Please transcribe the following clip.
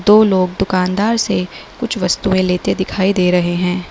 दो लोग दुकानदार से कुछ वस्तुएं लेते दिखाई दे रहे हैं।